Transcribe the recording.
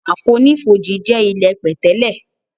Àfonífojì jẹ ilẹ́ pẹ̀tẹ́lẹ̀.